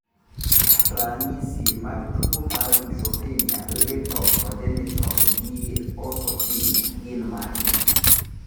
Ranyisi mag tuwo mar Neutropenia lethal congenital gi eosinophilia gin mage?